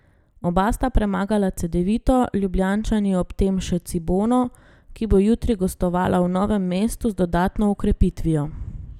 Oba sta premagala Cedevito, Ljubljančani ob tem še Cibono, ki bo jutri gostovala v Novem mestu z dodatno okrepitvijo.